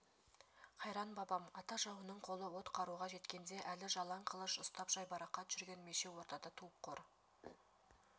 қайран бабам ата жауының қолы от қаруға жеткенде әлі жалаң қылыш ұстап жайбарақат жүрген мешеу ортада туып қор